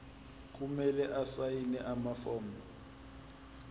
kumele asayine amafomu